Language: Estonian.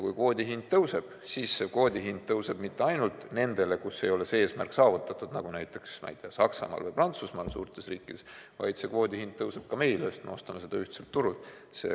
Kui kvoodi hind tõuseb, siis kvoodi hind tõuseb mitte ainult nendele riikidele, kus ei ole eesmärk saavutatud, nagu näiteks Saksamaa või Prantsusmaa, suured riigid, vaid kvoodi hind tõuseb ka meil, sest me ostame seda ühtselt turult.